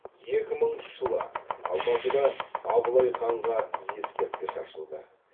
екі мыңыншы жылы алматыда абылай ханға ескерткіш ашылды